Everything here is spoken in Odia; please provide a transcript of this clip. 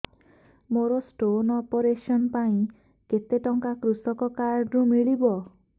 ମୋର ସ୍ଟୋନ୍ ଅପେରସନ ପାଇଁ କେତେ ଟଙ୍କା କୃଷକ କାର୍ଡ ରୁ ମିଳିବ